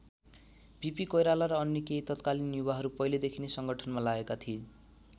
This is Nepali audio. बिपी कोइराला र अन्य केही तत्कालीन युवाहरू पहिलेदेखि नै संगठनमा लागेका थिए।